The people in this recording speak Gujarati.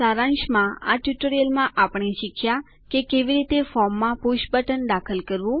સારાંશમાં આ ટ્યુટોરીયલમાં આપણે શીખ્યાં કે કેવી રીતે ફોર્મમાં પુષ બટન દાખલ કરવું